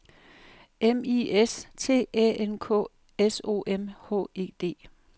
M I S T Æ N K S O M H E D